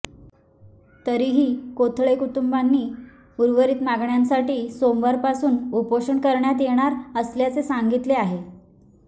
तरीही कोथळे कुटुंबीयांनी उर्वरित मागण्यांसाठी सोमवारपासून उपोषण करण्यात येणार असल्याचे सांगितले आहे